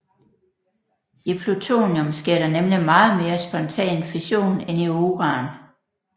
I plutonium sker der nemlig meget mere spontan fission end i uran